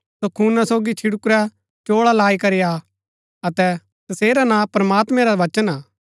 सो खूना सोगी छिडकुरै चोळा लाई करी हा अतै तसेरा नां प्रमात्मैं रा वचन हा